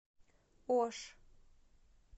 ош